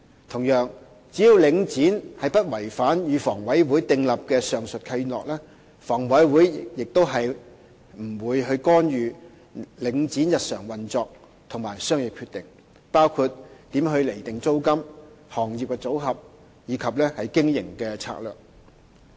同樣，只要領展不違反與房委會訂立的上述契諾，房委會不會干預領展的日常運作和商業決定，包括租金釐定、行業組合及經營策略等。